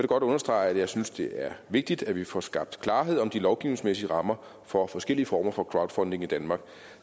godt understrege at jeg synes det er vigtigt at vi får skabt klarhed om de lovgivningsmæssige rammer for forskellige former for crowdfunding i danmark